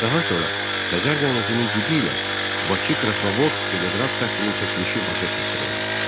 Daha sonra Xəzər dənizinin dibi ilə Bakı-Krasnovodsk teleqraf xəttinin çəkilişi başa çatdırıldı.